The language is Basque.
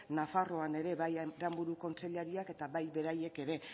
nafarroan ere bai aranburu kontseilariak eta bai beraiek ere